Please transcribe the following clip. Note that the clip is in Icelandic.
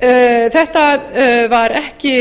það var ekki